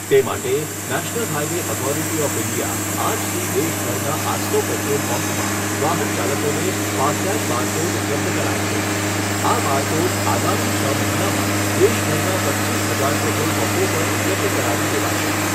તે માટે national highway authority of India આજથી દેશભરના આઠસો પેટ્રોલપંપમાં વાહનચાલકોને ફાસ્ટટેગ બારકોડ ઉપલબ્ધ કરાવશે. આ બારકોડ આગામી છ મહિનામાં દેશભરના પચ્ચીસ હજાર પેટ્રોલપંપો પર ઉપલબ્ધ કરાવી દેવાશે.